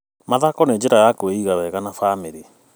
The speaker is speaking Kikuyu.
Mathako nĩ njĩra ya kwĩiga wega na bamĩrĩ.